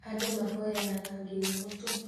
Andũ mahoyanaga nginya mũtu